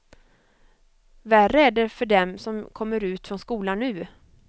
Värre är det för dem som kommer ut från skolan nu.